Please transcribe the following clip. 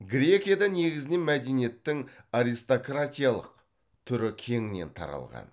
грекияда негізінен мәдениеттің аристократиялық түрі кеңінен таралған